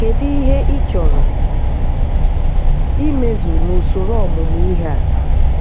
Kedu ihe ị chọrọ imezu n'usoro ọmụmụ ihe a?